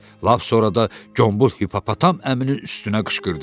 Lap sonra da cumbul hippopotam əminin üstünə qışqırdı.